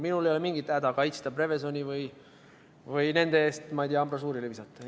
Minul ei ole mingit häda Prevezoni kaitsta või nende eest ambrasuurile viskuda.